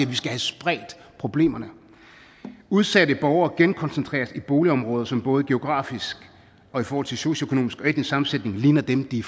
vi skal have spredt problemerne at udsatte borgere genkoncentreres i boligområder som både geografisk og i forhold til socioøkonomisk og etnisk sammensætning ligner dem de